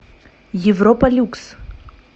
европа люкс